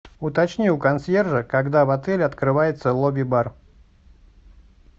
уточни у консьержа когда в отеле открывается лобби бар